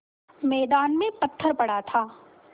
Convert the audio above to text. मैदान में पत्थर पड़ा था